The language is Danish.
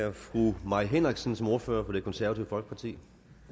er fru mai henriksen som ordfører for det konservative folkeparti